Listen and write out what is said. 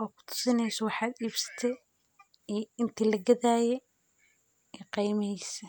oo ku tusinaysa waxaad iibsitay in tilgadaa ayee ee qeeymaysa.